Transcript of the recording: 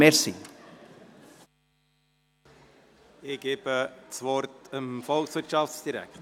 Ich gebe das Wort dem Volkswirtschaftsdirektor.